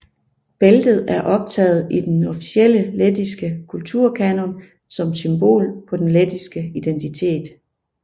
Bæltet er optaget i den officielle lettiske kulturkanon som symbol på den lettiske identitet